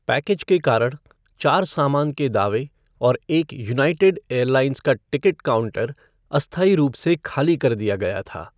Package के कारण, चार सामान के दावे और एक यूनाइटेड एयरलाइंस का टिकट काउंटर अस्थायी रूप से खाली कर दिया गया था।